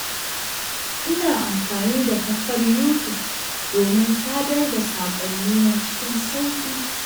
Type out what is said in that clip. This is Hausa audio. Ina amfani da kafar Yutub domin sadar da saƙonnina cikin sauƙi.